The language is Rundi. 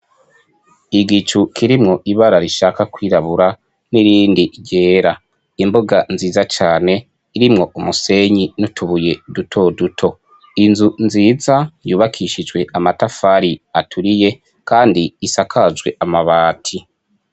Igicu kirimwo ibara rishaka kwirabura n'irindi ryera imboga nziza cane irimwo umusenyi n'utubuye dutoduto inzu nziza yubakishijwe amatafari aturiye kandi isakajwe amabati.